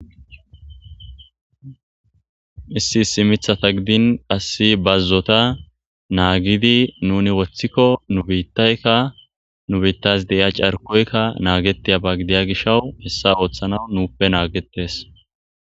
Issi issi mithata gidin qass bazzota naagidi nuni woththikko nu biittaykka nu biittas de7iya carkoykka naagetiya ba gidiya gishawu hessa ooththana nuuppe naagetes